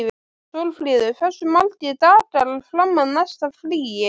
Sólfríður, hversu margir dagar fram að næsta fríi?